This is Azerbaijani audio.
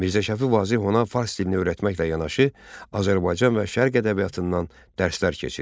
Mirzə Şəfi Vazeh ona fars dilini öyrətməklə yanaşı, Azərbaycan və Şərq ədəbiyyatından dərslər keçirdi.